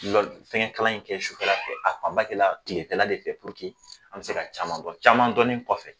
Fɛngɛkalan in kɛ sufɛla fɛ a fanba kɛla tilefɛla de fɛ an bɛ se ka caman dɔn caman dɔnni kɔfɛ